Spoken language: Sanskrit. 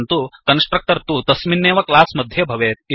परन्तु कन्स्ट्रक्टर् तु तस्मिन्नेव क्लास् मध्ये भवेत्